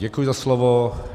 Děkuji za slovo.